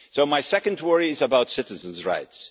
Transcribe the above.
My second worry is about citizens' rights.